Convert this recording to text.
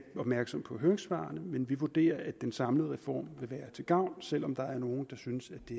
opmærksom på høringssvarene men vi vurderer at en samlede reform vil være til gavn selv om der er nogen der synes at det